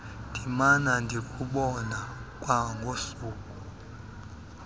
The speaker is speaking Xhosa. ndimana ndikubona kwangosuku